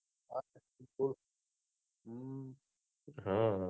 હા